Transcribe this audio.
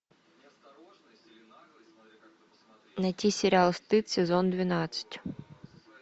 найти сериал стыд сезон двенадцать